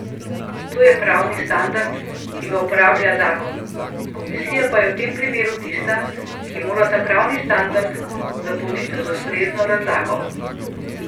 To je pravni standard, ki ga uporablja zakon, komisija pa je v tem primeru tista, ki mora ta pravni standard zapolniti z ustrezno razlago.